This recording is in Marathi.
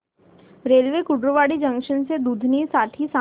रेल्वे कुर्डुवाडी जंक्शन ते दुधनी साठी सांगा